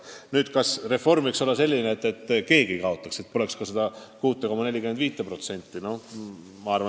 Nüüd, kas reform võiks olla selline, et keegi ei kaotaks, et poleks ka seda 6,45%?